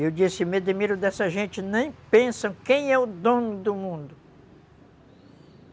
Eu disse, me admiro dessa gente, nem pensam quem é o dono do mundo.